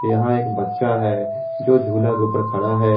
यहां एक बच्चा है जो झूला के ऊपर खड़ा है।